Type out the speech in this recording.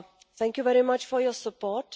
Thank you very much for your support.